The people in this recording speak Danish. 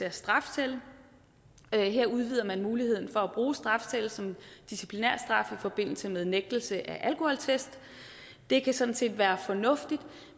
af strafcelle her udvider man muligheden for at bruge strafcelle som disciplinærstraf i forbindelse med nægtelse af alkoholtest det kan sådan set være fornuftigt